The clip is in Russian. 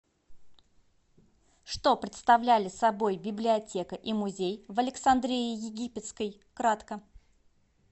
что представляли собой библиотека и музей в александрии египетской кратко